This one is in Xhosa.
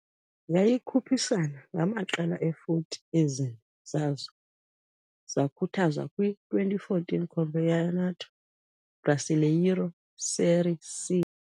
Yayikhuphisana ngamaqela e-40, ezine zazo zakhuthazwa kwi-2014 Campeonato Brasileiro Série C.